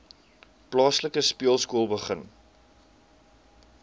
plaaslike speelskool begin